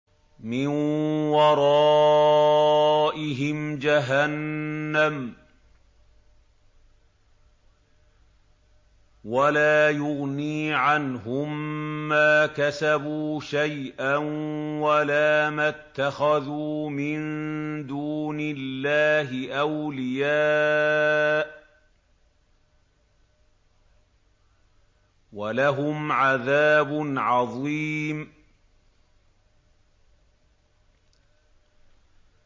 مِّن وَرَائِهِمْ جَهَنَّمُ ۖ وَلَا يُغْنِي عَنْهُم مَّا كَسَبُوا شَيْئًا وَلَا مَا اتَّخَذُوا مِن دُونِ اللَّهِ أَوْلِيَاءَ ۖ وَلَهُمْ عَذَابٌ عَظِيمٌ